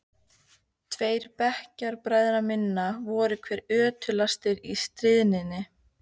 Tveir bekkjarbræðra minna voru hvað ötulastir í stríðninni.